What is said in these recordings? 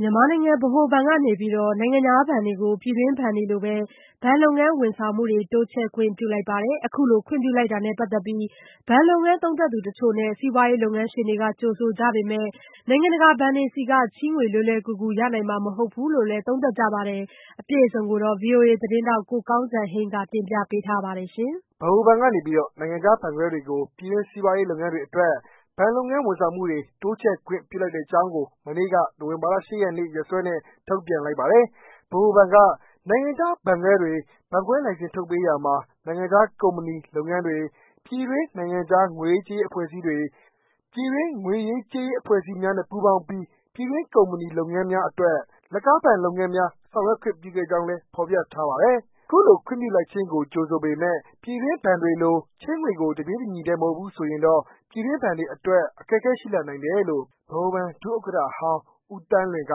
မြန်မာနိုင်ငံ ဗဟိုဘဏ်ကနေပြီးတော့ နိုင်ငံခြားဘဏ်တွေကို ပြည်တွင်းဘဏ်တွေလိုပဲ ဘဏ် လုပ်ငန်း ဝန်ဆောင်မှုတွေ တိုးချဲ့ခွင့်ပြုလိုက်ပါတယ်။ အခုလို ခွင့်ပြုလိုက်တာနဲ့ပက်သက်ပြီး ဘဏ် လုပ်ငန်း သုံးသပ်သူတချို့နဲ့ စီးပွားရေးလုပ်ငန်းရှင်တွေက ကြိုဆိုကြပေမယ့် နိုင်ငံတကာ ဘဏ်တွေ ဆီက ချေးငွေ လွယ်လွယ်ကူကူ ရနိုင်မှာမဟုတ်ဘူးလို့လည်း သုံးသပ်ကြပါတယ်။ အပြည့်အစုံကို ဗွီအိုအေသတင်းထောက် ကိုကောင်းစံဟိန်းကပြောပြပေးမှာပါ။ ဗဟိုဘဏ်ကနေပီးတော နိုင်ငံခြားဘဏ်ခွဲတွေကို ပြည်တွင်းစီးပွားရေး လုပ်ငန်းတွေအတွက် ဘဏ် လုပ်ငန်း ဝန်ဆောင်မှုတွေ တိုးချဲ့ခွင့်ပြုလိုက်ကြောင်းကို မနေ့က နိုဝင်ဘာလ ၈ ရက်နေ့ ရက်စွဲနဲ့ ထုတ်ပြန်လိုက်ပါတယ်။ ဗဟိုဘဏ်က နိုင်ငံခြားဘဏ် ဘဏ်ခွဲများအား ဘဏ်ခွဲလိုင်စင် ထုတ်ပေးရာ မှာ နိုင်ငံခြား ကုမ္ပဏီ/လုပ်ငန်းများ၊ ပြည်တွင်း/နိုင်ငံခြား ငွေရေးကြေးရေးအဖွဲ့အစည်းများ၊ ပြည်တွင်း ငွေရေးကြေးရေးအဖွဲ့အစည်းများနဲ့ ပူးပေါင်းပြီး ပြည်တွင်း ကုမ္ပဏီ/လုပ်ငန်းများအတွက် လက်ကား ဘဏ်လုပ်ငန်းများ ဆောင်ရွက်ခွင့်ပြုခဲ့ကြောင်းလည်း ဖော်ပြထားပါတယ်။ အခုလို ခွင့်ပြုလိုက်ခြင်းကို ကြိုဆိုပေမယ့် ပြည်တွင်းဘဏ်တွေလို ချေးငွေကို တပြေးညီတည်း မဟုတ်ဘူး ဆိုရင်တော့ ပြည်တွင်းဘဏ်တွေအတွက် အခက်အခဲရှိလာနိုင်တယ်လို့ ဗဟိုဘဏ် ဒုဥက္ကဋ္ဌဟောင်းဦးသန်းလွင်က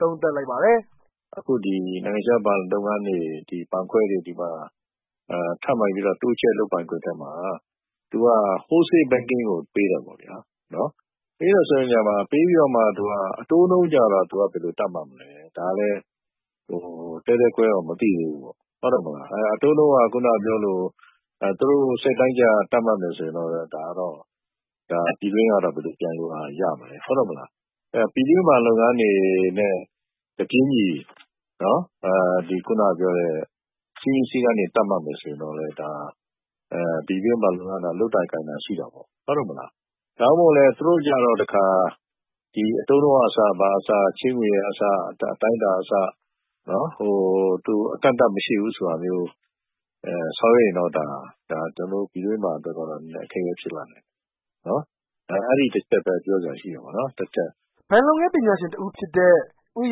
သုံးသပ်လိုက်ပါတယ်။ “အခုဒီ နိုင်ငံခြားဘဏ်လုပ်ငန်းတွေ၊ ဘဏ်ခွဲတွေ ထပ်မံပီးတော့ တိုးချဲ့လုပ်ပိုင်ခွင့်ထဲမှာ သူက Wholesales Banking ကို ပေးတယ် ပေါ့ဗျာ။ ပေးပြီးတော့မှ သူက အတိုးနှုန်းကျတော့ သူကဘယ်လိုသတ်မှတ်မလဲ။ ဒါကလည်း သဲသဲကွဲကွဲတော့ မသိသေးဘူးပေါ့။ အတိုးနှုန်းက သူတို့စိတ်တိုင်းကျ သတ်မှတ်မယ်ဆို ပြည်တွင်းကတော့ ဘယ်လို ပြိုင်လို့ ရမလဲ။ ပြည်တွင်း ဘဏ်လုပ်ငန်းတွေနဲ့ စည်းမျဉ်းစည်းကမ်း တပြေးညီ သတ်မှတ်မယ်ဆိုရင်တော့ ပြည်တွင်းဘဏ်လုပ်ငန်းတွေက လုပ်သာကိုင်သာ ရှိတာပေါ့။ ဒါမှမဟုတ်လည်း သူတို့ကျတော့ တခါ အတိုးနှုန်းကအစ၊ ဘာကအစ ချေးငွေတွေကအစ၊ အတိုင်းအတာကအစ၊ အကန့်အသတ်မရှိဘူးဆိုတာမျိုး ဆောင်ရွက်ရင်းတော့ ပြည်တွင်းမှာအတွက်ကတော့ အခက်အခဲဖြစ်လာနိုင်တယ်။ အဲဒီတချက်ပဲ ပြောစရာရှိတယ်ပေါ့နော်။” ဘဏ်လုပ်ငန်းပညာရှင် တဦးဖြစ်တဲ့ ဦး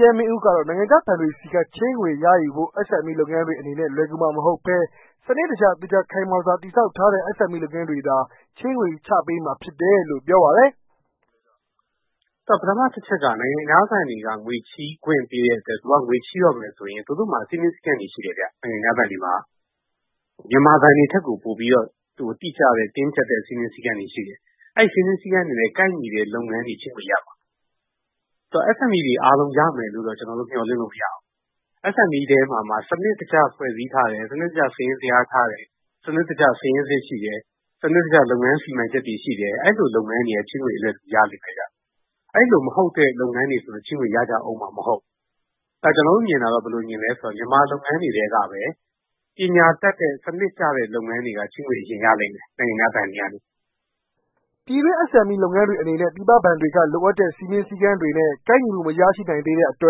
ရဲမင်းဦးကတော့ နိုင်ငံခြားဘဏ်တွေဆီက ချေးငွေ ရယူဖို့ SME လုပ်ငန်းတွေအနေနဲ့ လွယ်ကူမှာမဟုတ်ဘဲ စနစ်တကျသေချာ ခိုင်မာစွာ တည်ဆောက်ထားတဲ့ SME လုပ်ငန်းတွေသာ ချေးငွေ ချပေးမှာဖြစ်တယ်လို့ ပြောပါတယ်။ “ပထမတချက်က နိုင်ငံခြားဘဏ်တွေက ငွေချေးခွင့်ပေးတဲ့အတွက် သူတို့က ငွေချေးတော့မယ်ဆိုရင် သူတို့မှာ စည်းမျဉ်းစည်းကမ်းတွေ ရှိတယ်ဗျ- နိုင်ငံခြားဘဏ်တွေမှာ။ မြန်မာဘဏ်တွေ ထက်ကို ပိုပြီးတော့ တိကျတဲ့ တင်းကျပ်တဲ့ စည်းမျဉ်းစည်းကမ်းတွေ ရှိတယ်။ အဲ့ဒီစည်းမျဉ်းစည်းကမ်းတွေနဲ့ ကိုက်ညီတဲ့ လုပ်ငန်းတွေ ဖြစ်မှ ရမှာ။ ဆိုတော့ SMEတွေ အားလုံးရမယ်လို့တော့ ကျနော်တို့မျှော်လင့်လို့ မရဘူး။ SME ထဲမှာမှ စနစ်တကျ ဖွဲ့စည်းထားတယ်၊ စနစ်တကျ စာရင်းဇယားထားတယ်၊ စနစ်တကျ စာရင်းစစ်ရှိတယ်၊ စနစ်တကျလုပ်ငန်း စီမံချက်တွေ ရှိတယ်။ အဲလို လုပ်ငန်းတွေကပဲ ချေးငွေ ရလိမ့်မယ်ဗျ။ အဲလိုမဟုတ်တဲ့လုပ်ငန်းတွေက ချေးငွေ ရကြအုံးမှာမဟုတ်ဘူး။ ကျနော်တို့ မြင်တာတော့ ဘယ်လိုမြင်သလဲဆိုရင် မြန်မာလုပ်ငန်းတွေထဲကပဲ ပညာတတ်တဲ့ စနစ်ကျတဲ့ လုပ်ငန်းတွေကပဲ ချေးငွေအရင်ရလိမ့်မယ်။ နိုင်ငံခြားဘဏ်တွေကနေ--” ပြည်တွင်း SMEတွေအနေနဲ့ ပြည်ပဘဏ်တွေက လိုအပ်တဲ့ စည်းမျဉ်းစည်းကမ်းတွေနဲ့ ကိုက်ညီမှုမရှိနိုင်သေးတဲ့ အတွ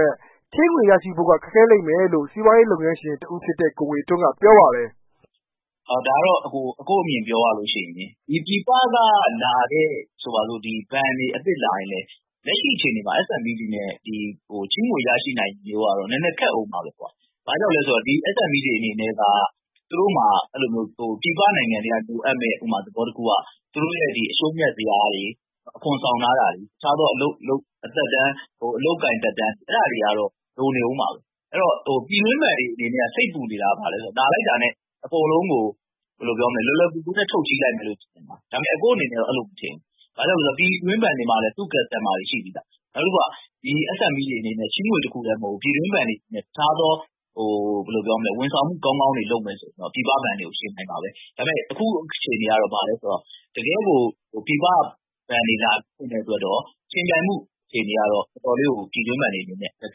က် ချေးငွေ ရရှိဖို့က ခက်ခဲလိမ့်မယ်လို့ စီးပွားရေးလုပ်ငန်းရှင် ဦးငွေထွန်းက ဆိုပါတယ်။ “အကို့အမြင်ကို ပြောရလို့ရှိရင် ပြည်ပကလာတဲ့ ဘဏ်တွေအသစ်လာရင်လည်း လက်ရှိအခြေအနေ မှာ SME နဲ့ ချေးငွေရရှိနိုင်ဖို့က နည်းနည်း ခက်အုံးမှာပဲကွ။ ဘာကြောင့်လဲဆိုတော့ ဒီ SME တွေ အနေနဲ့ က သူတို့မှာ ပြည်ပနိုင်ငံတွေက လိုအပ်မယ့် ဥပမာ-သဘောတခုက သူတို့ရဲ့ အရှုံးအမြတ် ဇယားတွေ၊ အခွန်ဆောင်ထားတာတွေ၊ တခြားသော အလုပ်အကိုင်သက်တမ်း…အဲဒါတွေကတော့ လိုနေအုံးမှာပဲ။ အဲဒီ တော့ ပြည်တွင်းဘဏ်တွေအနေနဲ့ စိတ်ပူနေတာ ဘာလဲဆိုတော့ လာလိုက် တာနဲ့ အကုန်လုံးကို လွယ်လွယ် ကူကူနဲ့ ထုတ်ချေးလိုက်မယ်လို့ ထင်နေကြတာ။ အကို့အနေနဲ့ ကတော့ အဲလိုမထင်ဘူး။ ဘာကြောင့်လဲဆိုတော့ ပြည်တွင်းဘဏ်တွေမှာလည်း သူ့ customers တွေ ရှိပြီးသား။ နောက်တခုက ဒီ SME တွေအနေနဲ့ ဒီချေးငွေ တခုတည်းမဟုတ်ဘူး။ ပြည်တွင်း ဘဏ်တွေနဲ့ တခြားသော ဝန်ဆောင်မှုကောင်းကောင်းတွေ လုပ်မယ် ဆိုရင် တော့ ပြည်ပဘဏ် တွေကို ယှဉ်နိုင်မှာပဲ။ ဒါပေမယ့် အခုအခြေအနေကတော့ တကယ်ကို ပြည်ပဘဏ်တွေ လာဖွင့်မယ့် အတွက်တော့ ယှဉ်ပြိုင်မှုအခြေအနေကတော့ အတော်လေးကို ပြည်တွင်းဘဏ်တွေအနေနဲ့ အခက်အ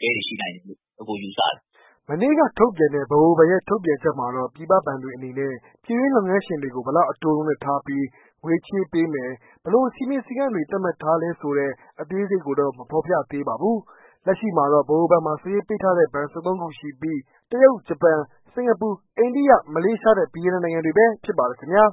ခဲတွေ ရှိနိုင်တယ်လို့ အကို ယူဆတယ်။” မနေ့က ထုတ်ပြန်တဲ့ ဗဟိုဘဏ်ရဲ့ ထုတ်ပြန်ချက်မှတော့ ပြည်ပဘဏ်တွေအနေနဲ့ ပြည်တွင်း လုပ်ငန်းရှင်တွေ ကို ဘယ်လောက်အတိုးနှုန်းနဲ့ ထားပီးငွေချေးပေးမယ် ၊ ဘယ်လို စည်းမျဉ်း စည်းကမ်းတွေ သတ်မှတ်ထားလဲ ဆိုတာတော့ အသေးစိတ် မဖော်ပြထားသေးပါဘူး။ လက်ရှိမှာတော့ ဗဟိုဘဏ်မှာစာရင်းပေးထားတဲ့ ဘဏ် ၁၃ ခုရှိပီး တရုတ်၊ ဂျပန်၊ စင်ကာပူ၊ အိန္ဒိယ၊ မလေးရှားနဲ့ ဗီယက်နမ်နိုင်ငံတွေ ဖြစ်ပါတယ်ခင်ဗျာ